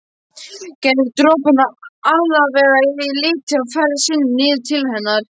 Gerðu dropana allavega lita á ferð sinni niður til hennar.